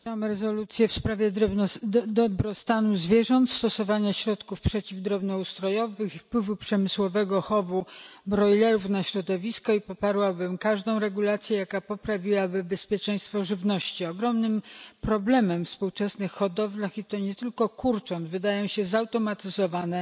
Panie Przewodniczący! Poparłam rezolucję w sprawie dobrostanu zwierząt, stosowania środków przeciwdrobnoustrojowych i wpływu przemysłowego chowu brojlerów na środowisko i poparłabym każdą regulację, jaka poprawiłaby bezpieczeństwo żywności. Ogromnym problemem we współczesnych hodowlach, i to nie tylko kurcząt, wydają się zautomatyzowane,